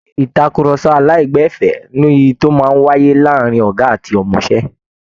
Ìtàkurọsọ aláìgbẹ̀fẹ́ ni èyí tó máa ń wáyé láàárin ọ̀gá ilé iṣẹ́ àti ọmọṣẹ́